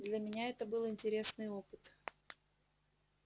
для меня это был интересный опыт